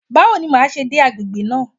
Báwo ni màá ṣe dé agbègbè náà?